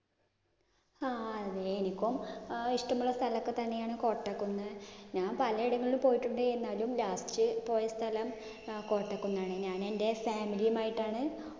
ആഹ് അതെ. എനിക്കും അഹ് ഇഷ്ടമുള്ള സ്ഥലമൊക്കെ തന്നെയാണ് കോട്ടക്കുന്ന്. ഞാൻ പലയിടങ്ങളിലും പോയിട്ടുണ്ട്. എന്നാലും last പോയ സ്ഥലം അഹ് കോട്ടക്കുന്നാണ്. ഞാൻ എൻ്റെ family യും ആയിട്ടാണ്